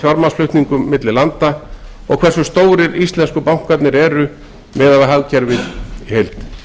fjármagnsflutningum milli landa og hversu stórir íslensku bankarnir eru orðnir miðað við hagkerfið í heild